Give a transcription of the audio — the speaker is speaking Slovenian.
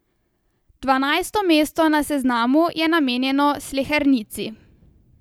Dvanajsto mesto na seznamu je namenjeno Slehernici.